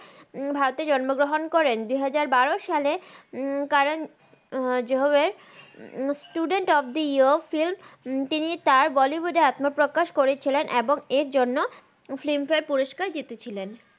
ভারতে জন্ম গ্রাহান করেন দু হাজার বার সালে Karan Johar student of the year film Bollywood এ আত্মা প্রাকাশ করেছিলেন এবং এর জন্য ফিল্ম ফারে পুরুস্কার জিতেছিলেন